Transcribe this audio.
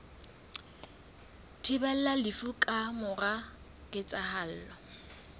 thibelang lefu ka mora ketsahalo